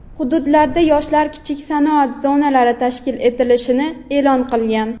hududlarda Yoshlar kichik sanoat zonalari tashkil etilishini e’lon qilgan.